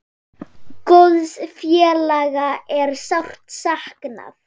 Góðs félaga er sárt saknað.